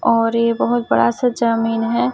और ये बहुत बड़ा सा जमीन है।